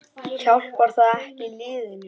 Hjálpar það ekki liðinu?